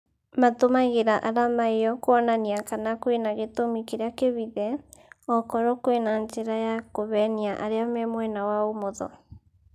Matũmagira arama ĩyo kuonania kana kwĩna gĩtũmi kĩrĩa kĩhithe, okorwo kwĩna njira ya kuhenia arĩa me mwena wa ũmotho